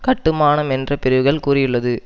கட்டுமானம் என்ற பிரிவுகள் கூறியுள்ளது